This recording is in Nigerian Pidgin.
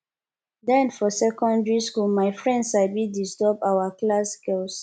den for secondary school my friends sabi disturb our our class girls